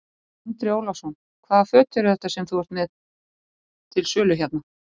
Andri Ólafsson: Hvaða föt eru þetta sem þú ert með til sölu hérna?